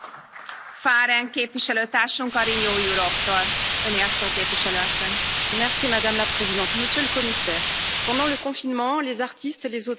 Madame la Présidente, Monsieur le Commissaire, pendant le confinement, les auteurs et les artistes ont été là pour nous, pour nous apporter du rêve, de l'évasion, du sourire parfois, même quand le cœur n'y était pas.